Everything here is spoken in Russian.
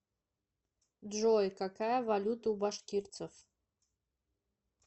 джой какая валюта у башкирцев